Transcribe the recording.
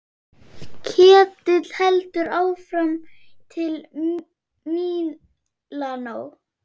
Ketill heldur áfram til Mílanó.